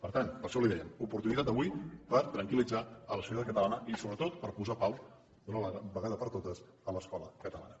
per tant per això li dèiem oportunitat avui per tranquillitzar la societat catalana i sobretot per posar pau d’una vegada per totes a l’escola catalana